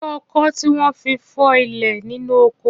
Ṣé ọkọ́ tí wọ́n fi ń fọ́ ilẹ̀ nínú oko?